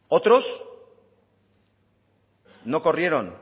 otros no corrieron